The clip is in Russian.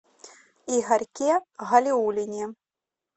игорьке галиуллине